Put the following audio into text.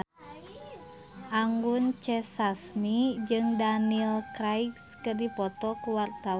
Anggun C. Sasmi jeung Daniel Craig keur dipoto ku wartawan